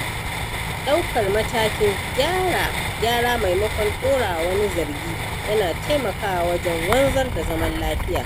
Daukar matakin gyara maimakon ɗorawa wani zargi yana taimakawa wajen wanzar da zaman lafiya